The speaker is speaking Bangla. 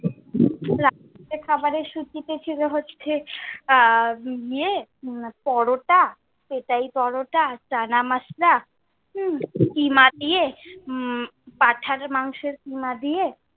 রাত্রের খাবারের সূচীতে ছিল হচ্ছে আহ ইয়ে পরোটা, পেটাই পরোটা, চানা মসলা, উম কিমা দিয়ে হম পাঠার মাংসের কিমা দিয়ে।